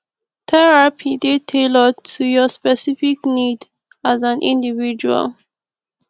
therapy dey tailored to your specific need as an individual